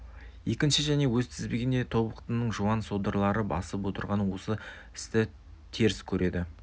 екінші және өз ішінде тобықтының жуан содырлары бастап отырған осы істі теріс көреді